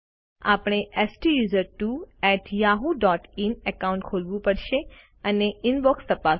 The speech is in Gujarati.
આપણે STUSERTWOyahooin એકાઉન્ટ ખોલવું પડશે અને ઇનબોક્સ તપાસો